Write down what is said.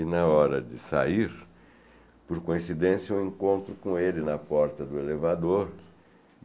E na hora de sair, por coincidência, eu encontro com ele na porta do elevador.